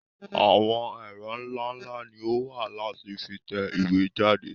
Àwọn ẹ̀ro nlánlá ni o wa láti fi tẹ ìwé jáde.